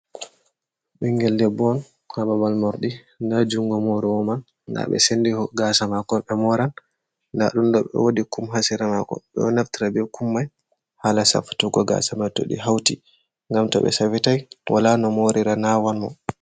Ɓingel debbo on haa babal morɗi, nda jungo morowo man, nda ɓe sendi gasa mako ɓe moran, nda ɗum ɗo ɓe wodi kum ha sera mako. Ɓeɗo naftira be kum mai hala safutugo gasa ma to ɗi hauti ngam to ɓe safitai wala no morira nawan mo.